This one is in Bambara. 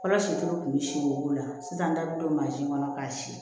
Fɔlɔ si tɛ kun bɛ si wolo sisan n da bɛ don kɔnɔ k'a si